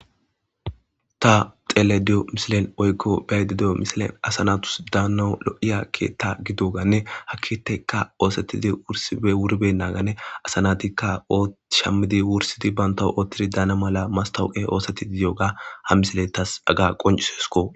Ta xelediyo misilen woykko baydi di'o misilen asanatus daana lo'iya keetta gidoganne haa keetikka oosetidi wursana gin wurben naagane asanatikka shammidi wursidi banta oottidi daana mala mastawuqe oosetidi yooga ha misile tas aga qoncisesko